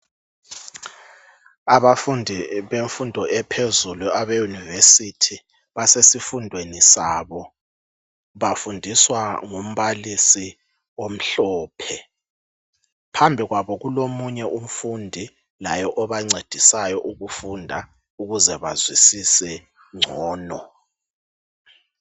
Abafundi bemfundo ephezulu abe university, basesifundweni sabo, bafundiswa ngumbalisi omhlophe, phambi kwabo kulomunye umfundi laye obancedisayo ukufunda ukuze bazwisise ngcono.